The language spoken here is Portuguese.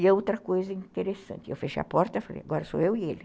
E outra coisa interessante, eu fechei a porta, falei, agora sou eu e ele.